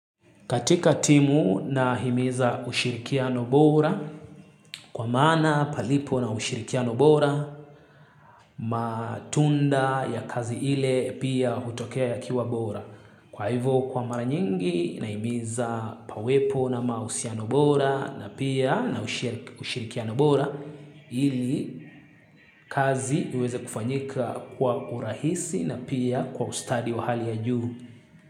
Katika timu nahimiza ushirikia nobora kwa mana palipo na ushirikiano bora matunda ya kazi ile pia hutokea yakiwa bora. Kwa hivyo kwa mara nyingi nahimiza pawepo na mausia nobora na pia na ushirikiano bora ili kazi iweze kufanyika kwa urahisi na pia kwa ustadi wa hali ya juu.